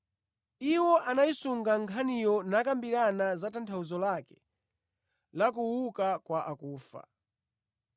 Iwo anayisunga nkhaniyo nakambirana za tanthauzo lake la “Kuuka kwa akufa.”